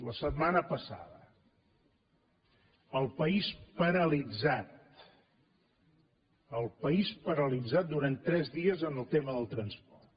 la setmana passada el país paralitzat el país paralitzat durant tres dies pel tema del transport